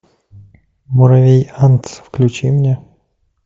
муравей антц включи мне